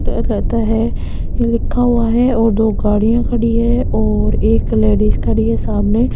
है ये लिखा हुआ है और दो गाड़ियां खड़ी है और एक लेडिज खड़ी है सामने --